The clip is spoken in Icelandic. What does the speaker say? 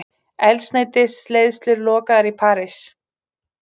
Eldsneytisleiðslur lokaðar í París